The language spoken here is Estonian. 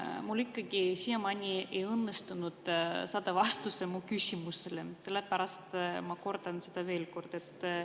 Mul ei ole siiamaani õnnestunud saada vastust oma küsimusele, sellepärast ma kordan seda veel.